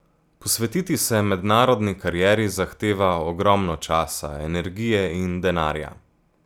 Posvetiti se mednarodni karieri zahteva ogromno časa, energije in denarja.